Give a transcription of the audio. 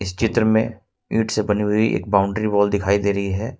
चित्र में ईंट से बनी हुई एक बाउंड्री वॉल दिखाई दे रही है।